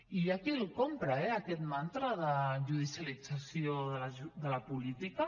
i hi ha qui el compra eh aquest mantra de judicialització de la política